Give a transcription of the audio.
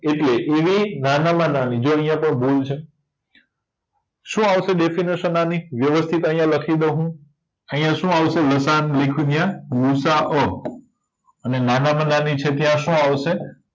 એટલે એવી નાનામાં નાની જો આયાતો ભૂલ છે શું આવશે ડેફીનેસન આની વ્યવસ્થિત આયા લખી દવ હુ આયા શું આવશે લસાઅ લખ્યું ન્યા ગુસાઅ અને નાનામાં નાની છે ત્યાં શું આવશે